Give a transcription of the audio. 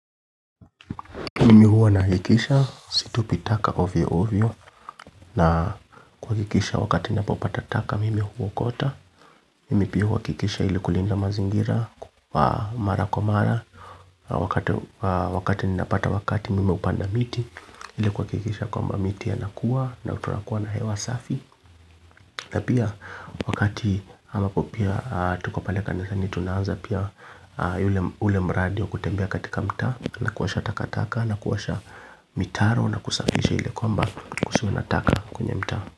Mimi huwa nahakikisha, situpi taka ovyo ovyo na kuhakikisha wakati ni napopata taka mimi huokota mimi pia huhakikisha ili kulinda mazingira mara kwa mara wakati ni napata wakati mimi hupanda miti ile kuhakikisha kwamb miti anakuwa na tunakuwa na hewa safi na pia wakati ama kwa pia tuko pale kanisani. Tunaanza pia ule mradi kutembea katika mtaa na kuosha takataka na kuosha mitaro na kusafisha ili kwamba kusiwe na taka kwenye mtaa.